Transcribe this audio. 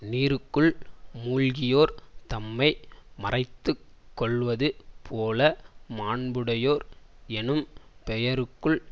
நீருக்குள் மூழ்கியோர் தம்மை மறைத்து கொள்வது போல மாண்புடையோர் எனும் பெயருக்குள்